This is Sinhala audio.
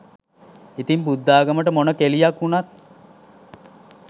ඉතින් බුද්ධාගමට මොන කෙලියක් උනත්